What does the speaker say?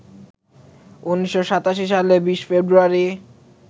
১৯৮৭ সালের ২০ ফেব্রুয়ারি